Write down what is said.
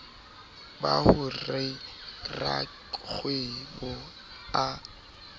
ba ho re rakgwebo a